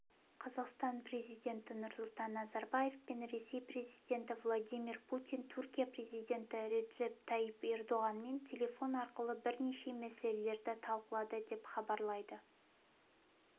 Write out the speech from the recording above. қазақстан президенті нұрсұлтан назарбаев пен ресей президенті владимир путин түркия президенті реджеп тайип ердоғанмен телефон арқылы бірнеше мәселелерді талқылады деп хабарлайды